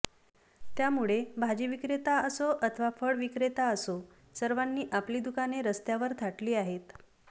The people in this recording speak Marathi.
त्यामुळे भाजीविक्रेता असो अथवा फळविक्रेता असो सर्वानी आपली दुकाने रस्त्यावर थाटली आहेत